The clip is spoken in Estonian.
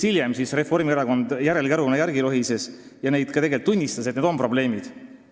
Hiljem lohises Reformierakond järelkäruna järele ja tunnistas tegelikult ka ise, et on sellised probleemid.